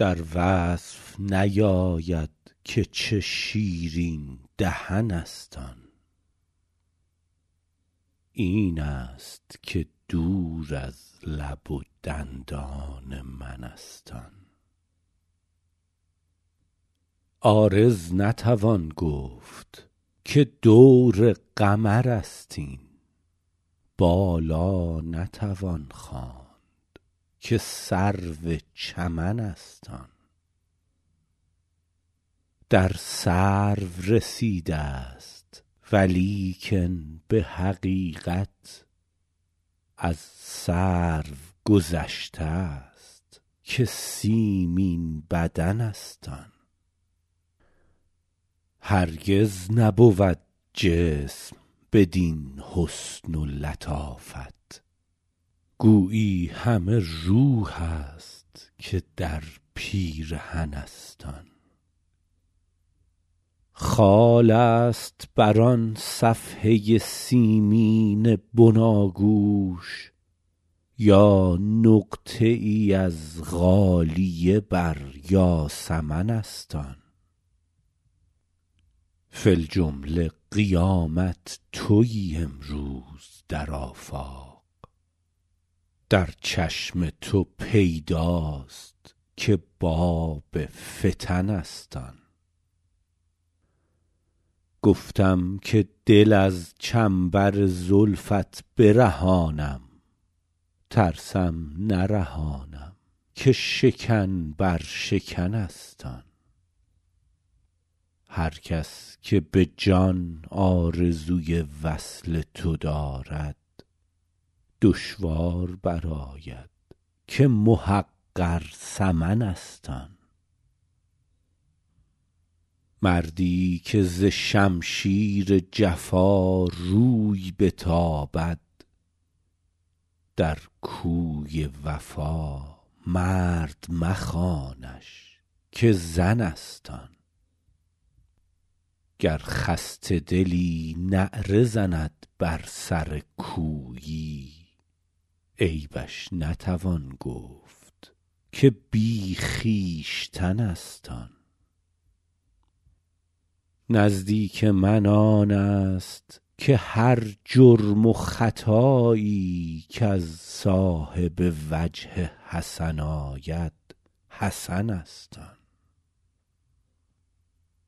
در وصف نیاید که چه شیرین دهن است آن این است که دور از لب و دندان من است آن عارض نتوان گفت که دور قمر است این بالا نتوان خواند که سرو چمن است آن در سرو رسیده ست ولیکن به حقیقت از سرو گذشته ست که سیمین بدن است آن هرگز نبود جسم بدین حسن و لطافت گویی همه روح است که در پیرهن است آن خال است بر آن صفحه سیمین بناگوش یا نقطه ای از غالیه بر یاسمن است آن فی الجمله قیامت تویی امروز در آفاق در چشم تو پیداست که باب فتن است آن گفتم که دل از چنبر زلفت برهانم ترسم نرهانم که شکن بر شکن است آن هر کس که به جان آرزوی وصل تو دارد دشوار برآید که محقر ثمن است آن مردی که ز شمشیر جفا روی بتابد در کوی وفا مرد مخوانش که زن است آن گر خسته دلی نعره زند بر سر کویی عیبش نتوان گفت که بی خویشتن است آن نزدیک من آن است که هر جرم و خطایی کز صاحب وجه حسن آید حسن است آن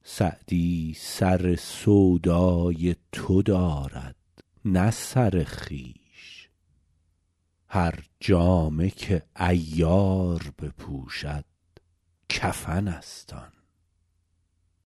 سعدی سر سودای تو دارد نه سر خویش هر جامه که عیار بپوشد کفن است آن